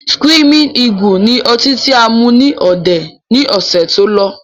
Screaming eagle ni ọtí tí a mú ní òde ni ọ̀sẹ̀ tó lọ